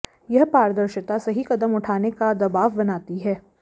यह पारदर्शिता सही कदम उठाने का दबाव बनाती है